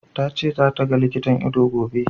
Ta ce za ta ga likitan ido, gobe.